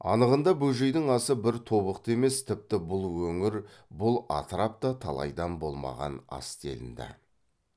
анығында бөжейдің асы бір тобықты емес тіпті бұл өңір бұл атырапта талайдан болмаған ас делінді